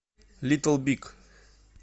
литл биг